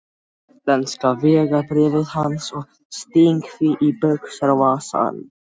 lenska vegabréfið hans og sting því í buxnavasann.